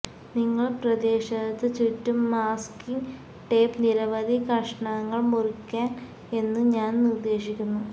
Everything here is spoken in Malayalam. നിങ്ങൾ പ്രദേശത്തു ചുറ്റും മാസ്കിങ്ങ് ടേപ്പ് നിരവധി കഷണങ്ങൾ മുറിക്കാൻ എന്നു ഞാൻ നിർദ്ദേശിക്കുന്നു